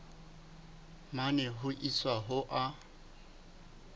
mane ho isa ho a